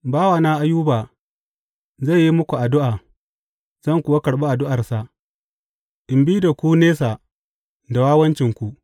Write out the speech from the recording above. Bawana Ayuba zai yi muku addu’a zan kuwa karɓi addu’arsa in bi da ku nisa da wawancinku.